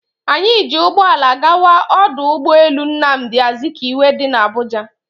Anyị ji ụgbọala gawa ọdụ ụgbọ elu Nnamdi Azikiwe dị na Abuja